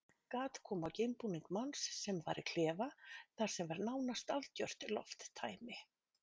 Gat kom á geimbúning manns sem var í klefa þar sem var nánast algjört lofttæmi.